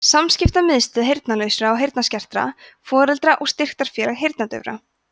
samskiptamiðstöð heyrnarlausra og heyrnarskertra foreldra og styrktarfélag heyrnardaufra